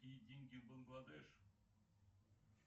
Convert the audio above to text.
какие деньги в бангладеш